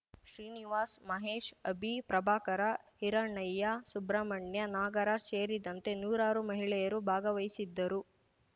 ಶ್ರೀನಿವಾಸ್‌ ಮಹೇಶ್‌ ಅಭಿ ಪ್ರಭಾಕರ ಹಿರಣ್ಣಯ್ಯ ಸುಬ್ರಹ್ಮಣ್ಯ ನಾಗರಾಜ್‌ ಸೇರಿದಂತೆ ನೂರಾರು ಮಹಿಳೆಯರು ಭಾಗವಹಿಸಿದ್ದರು